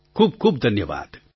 ખૂબખૂબ ધન્યવાદ